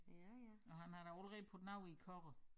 Og han da allerede puttet noget i kurven